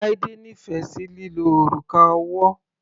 Laide nífẹ̀ sí lílo òrùka ọwọ́.